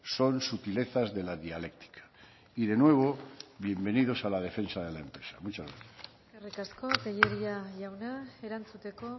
son sutilizas de la dialéctica y de nuevo bienvenidos a la defensa de la empresa muchas gracias eskerrik asko tellería jauna erantzuteko